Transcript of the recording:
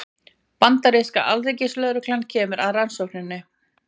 Bandaríska alríkislögreglan kemur að rannsókninni